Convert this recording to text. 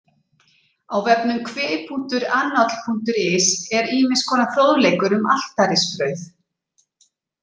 Á vefnum kvi.annáll.is er ýmis konar fróðleikur um altarisbrauð.